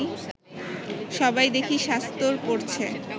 সবাই দেখি শাস্তর পড়ছে